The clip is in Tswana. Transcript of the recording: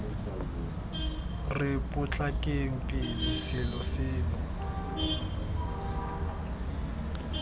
re potlakeng pele selo seno